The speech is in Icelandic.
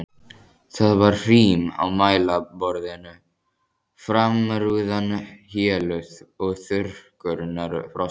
Það var hrím á mælaborðinu, framrúðan héluð og þurrkurnar frosnar.